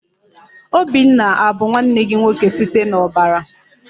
Obinna abu nwanne gị nwoke site n'ọbara?